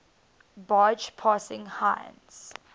barge passing heinz